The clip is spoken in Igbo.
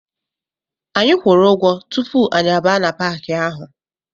Anyị kwuru ụgwọ tupu anyị abaa na Paaki ahụ.